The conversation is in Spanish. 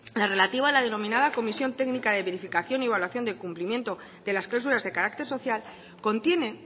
la relativa a la denominada comisión técnica de verificación y evaluación del cumplimiento de las cláusulas de carácter social contiene